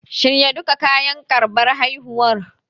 Shirya duka kayan karɓar haihuwar.